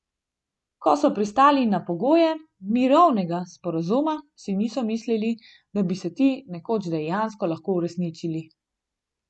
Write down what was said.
Ko so pristali na pogoje mirovnega sporazuma, si niso mislili, da bi se ti nekoč dejansko lahko uresničili.